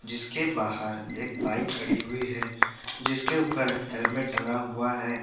जिसके बाहर एक बाइक खड़ी हुई है जिसके ऊपर हेलमेट टंगा हुआ है।